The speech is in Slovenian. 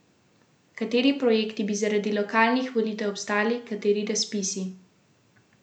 Kateri projekti bi zaradi lokalnih volitev obstali, kateri razpisi?